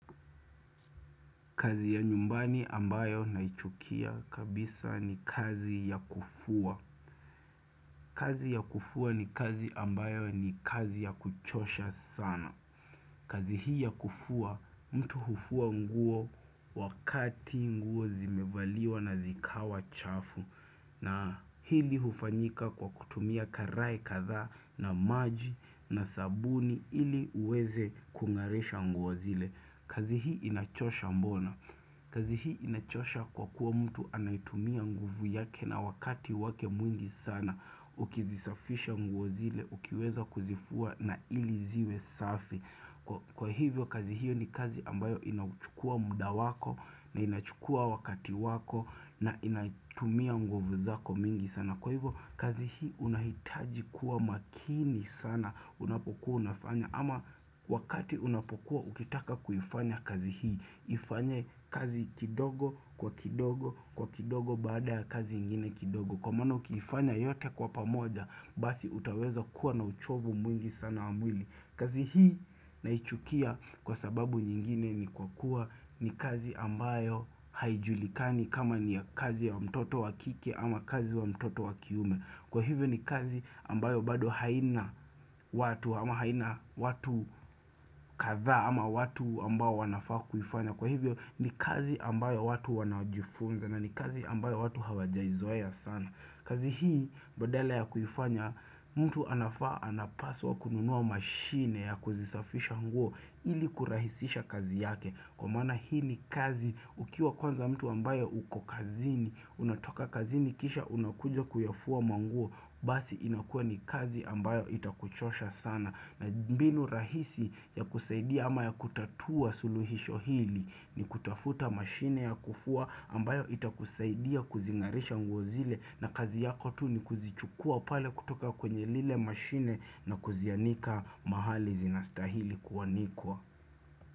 Kazi ya nyumbani ambayo naichukia kabisa ni kazi ya kufua. Kazi ya kufua ni kazi ambayo ni kazi ya kuchosha sana. Kazi hii ya kufua, mtu hufua nguo wakati nguo zimevaliwa na zikawa chafu. Na hili hufanyika kwa kutumia karai katha na maji na sabuni ili uweze kungarisha nguo zile. Kazi hii inachosha mbona. Kazi hii inachosha kwa kuwa mtu anaitumia nguvu yake na wakati wake mwingi sana Ukizisafisha nguo zile, ukiweza kuzifua na ili ziwe safi Kwa hivyo kazi hiyo ni kazi ambayo inauchukua muda wako na inachukua wakati wako na inaitumia nguvu zako mwingi sana. Kwa hivyo kazi hii unahitaji kuwa makini sana unapokuwa unafanya. Ama wakati unapokuwa ukitaka kuifanya kazi hii Ifanye kazi kidogo kwa kidogo kwa kidogo baada ya kazi ingine kidogo. Kwa maana ukiifanya yote kwa pamoja, basi utaweza kuwa na uchovu mwingi sana wa mwili. Kazi hii naichukia kwa sababu nyingine ni kwa kuwa ni kazi ambayo haijulikani kama ni ya kazi ya mtoto wakike ama kazi wa mtoto wakiume, Kwa hivyo ni kazi ambayo bado haina watu ama haina watu kathaa ama watu ambao wanafaa kuifanya. Kwa hivyo ni kazi ambayo watu wanajifunza na ni kazi ambayo watu hawajaizoeya sana. Kazi hii badala ya kuifanya, mtu anafaa anapaswa kununua mashine ya kuzisafisha nguo ili kurahisisha kazi yake Kwa maana hii ni kazi ukiwa kwanza mtu ambaye uko kazini, unatoka kazini kisha unakuja kuyafua manguo, basi inakua ni kazi ambayo itakuchosha sana. Na mbinu rahisi ya kusaidia ama ya kutatua suluhisho hili, ni kutafuta mashine ya kufua ambayo itakusaidia kuzingarisha nguozile na kazi yako tu ni kuzichukua pale kutoka kwenye lile mashine na kuzianika mahali zinastahili kuanikwa.